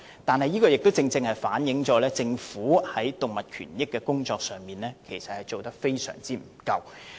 然而，這亦正好反映政府在動物權益工作上，做得非常不足。